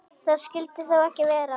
Það skyldi þó ekki vera.